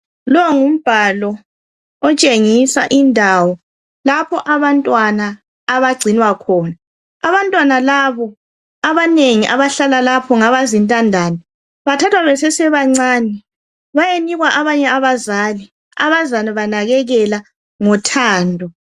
Lo ngumbhalo otshengisa indawo lapho abantwana abagcinwa khona. Abantwana labo abanengi abahlala lapho ngabazintandane. Bathathwa besesebancane bayenikwa abanye abazali abazabanakekela ngothando.